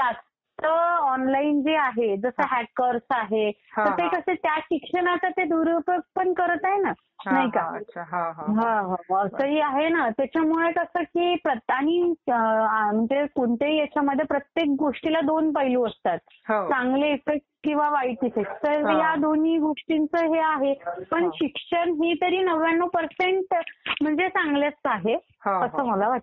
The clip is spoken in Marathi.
आता ऑनलाईन जे आहे जसं हॅकर्स आहेत तर ते कसं आहे की त्या शिक्षणाचा ते दुरुपयोग पण करत आहे ना. नाही का? त्याच्यामुळे कसं की आणि कोणत्याही ह्यांच्यामध्ये प्रत्येक गोष्टीला दोन पैलू असतात. चांगले इफेक्ट किंवा वाईट इफेक्ट. तर ह्या दोन्ही गोष्टींचं हे आहे. पण शिक्षण हे तरी नव्व्यान्नव पर्सेंट चांगलंच आहे असं मला वाटतं